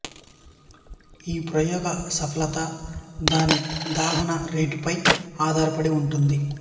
ఈ ప్రయోగ సఫలత దాని దహన రేటుపై ఆధారపడి ఉంటుంది